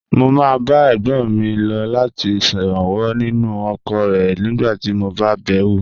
Mo máa ń bá ẹ̀gbọ́n mi lọ láti ṣèrànwọ́ nínú oko rẹ̀ nígbà tí mo bá bẹ̀ wò.